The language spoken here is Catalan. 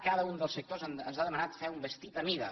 cada un dels sectors ens ha demanat fer un vestit a mida